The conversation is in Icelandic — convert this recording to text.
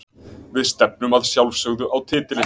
Við stefnum að sjálfsögðu á titilinn.